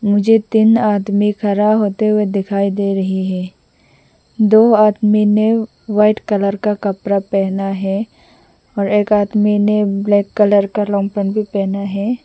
मुझे तीन आदमी खड़ा होते हुए दिखाई दे रही हैं दो आदमी ने व्हाइट कलर का कपड़ा पहना है और एक आदमी ने ब्लैक कलर का लॉन्ग पेंट भी पहना है।